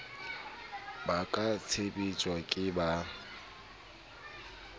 ba ka tsheptjwang ke ba